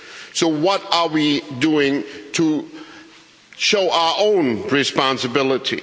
So what are we doing to show our own responsibility?